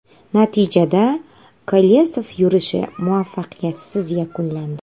Natijada, Kolesov yurishi muvaffaqiyatsiz yakunlandi.